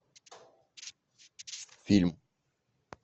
фильм